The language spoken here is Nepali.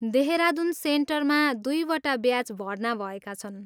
देहरादुन सेन्टरमा दुई वटा ब्याच भर्ना भएका छन्।